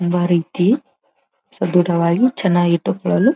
ಎಲ್ಲಾ ರೀತಿ ಸದೃಢವಾಗಿ ಚನ್ನಾಗಿ ಇಟ್ಟುಕೊಳ್ಳಲು.